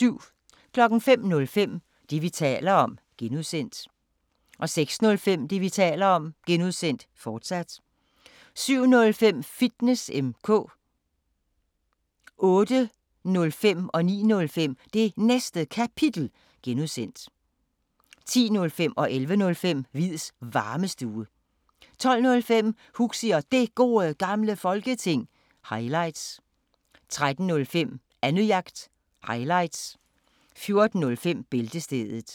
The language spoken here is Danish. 05:05: Det, vi taler om (G) 06:05: Det, vi taler om (G), fortsat 07:05: Fitness M/K 08:05: Det Næste Kapitel (G) 09:05: Det Næste Kapitel (G) 10:05: Hviids Varmestue 11:05: Hviids Varmestue 12:05: Huxi og Det Gode Gamle Folketing – highlights 13:05: Annejagt – highlights 14:05: Bæltestedet